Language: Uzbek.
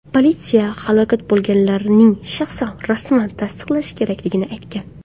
Politsiya halok bo‘lganlarning shaxsini rasman tasdiqlash kerakligini aytgan.